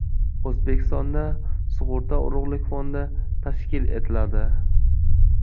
O‘zbekistonda sug‘urta urug‘lik fondi tashkil etiladi.